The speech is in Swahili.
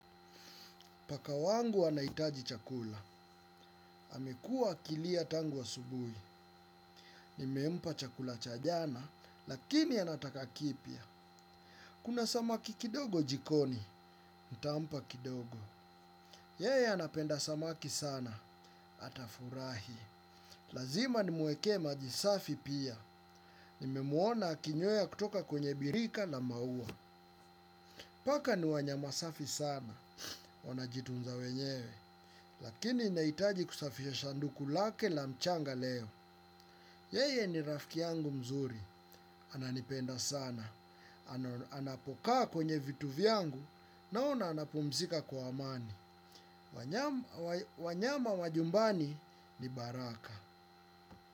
Paka wangu anahitaji chakula amekua akilia tangu asubuhi. Nimempa chakula cha jana lakini anataka kipya. Kuna samaki kidogo jikoni. Ntampa kidogo. Yeye anapenda samaki sana. Atafurahi. Lazima nimwekee maji safi pia. Nimemwona akinyweya kutoka kwenye birika na maua. Paka ni wanyama safi sana. Wana jitunza wenyewe. Lakini nahitaji kusafisha sanduku lake la mchanga leo. Yeye ni rafiki yangu mzuri. Ananipenda sana. Anapokaa kwenye vitu vyangu na ona anapumzika kwa amani. Wanyama wa jumbani ni baraka.